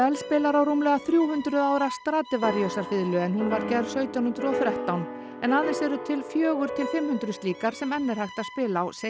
spilar á rúmlega þrjú hundruð ára Stradivariusarfiðlu en hún var gerð sautján hundruð og þrettán en aðeins eru til fjögur til fimm hundruð slíkar sem enn er hægt að spila á segir